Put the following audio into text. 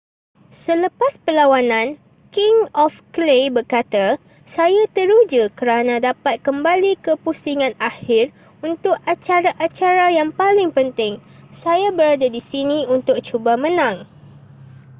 selepas perlawanan king of clay berkata saya teruja kerana dapat kembali ke pusingan akhir untuk acara-acara yang paling penting saya berada di sini untuk cuba menang